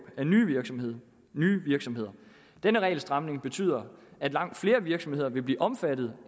af nye virksomheder nye virksomheder denne regelstramning betyder at langt flere virksomheder vil blive omfattet